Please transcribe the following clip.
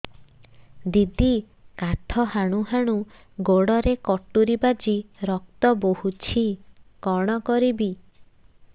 ଦିଦି କାଠ ହାଣୁ ହାଣୁ ଗୋଡରେ କଟୁରୀ ବାଜି ରକ୍ତ ବୋହୁଛି କଣ କରିବି